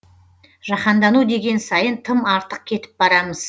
жаһандану деген сайын тым артық кетіп барамыз